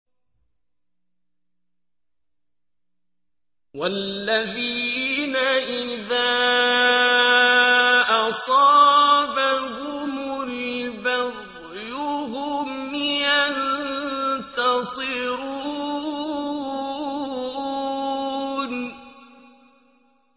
وَالَّذِينَ إِذَا أَصَابَهُمُ الْبَغْيُ هُمْ يَنتَصِرُونَ